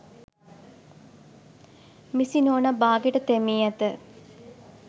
මිසි නෝනා බාගෙට තෙමී ඇත.